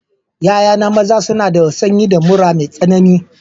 Ya'ya maza na suna da sanyi da mura mai tsanani.